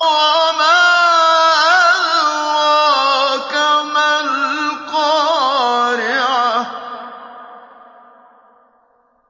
وَمَا أَدْرَاكَ مَا الْقَارِعَةُ